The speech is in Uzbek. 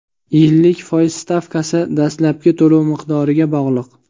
Yillik foiz stavkasi dastlabki to‘lov miqdoriga bog‘liq.